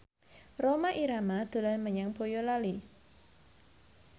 Rhoma Irama dolan menyang Boyolali